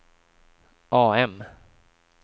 AM